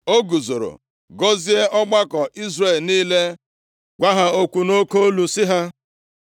O guzoro gọzie ọgbakọ Izrel niile, gwa ha okwu nʼoke olu sị ha,